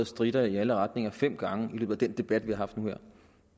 stritter i alle retninger fem gange i løbet af den debat vi har haft nu her